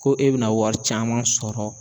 Ko e be na wari caman sɔrɔ